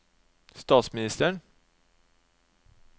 statsministeren